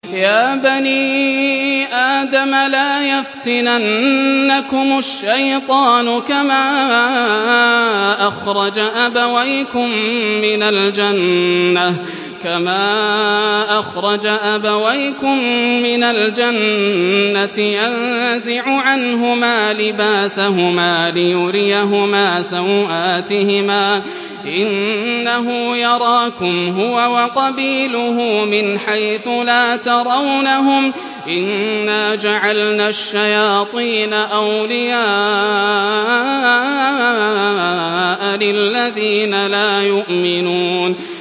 يَا بَنِي آدَمَ لَا يَفْتِنَنَّكُمُ الشَّيْطَانُ كَمَا أَخْرَجَ أَبَوَيْكُم مِّنَ الْجَنَّةِ يَنزِعُ عَنْهُمَا لِبَاسَهُمَا لِيُرِيَهُمَا سَوْآتِهِمَا ۗ إِنَّهُ يَرَاكُمْ هُوَ وَقَبِيلُهُ مِنْ حَيْثُ لَا تَرَوْنَهُمْ ۗ إِنَّا جَعَلْنَا الشَّيَاطِينَ أَوْلِيَاءَ لِلَّذِينَ لَا يُؤْمِنُونَ